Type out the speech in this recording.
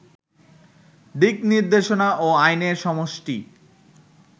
দিকনির্দেশনা ও আইনের সমষ্টি